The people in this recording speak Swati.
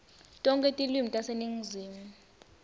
tonkhe tilwimi taseningizimu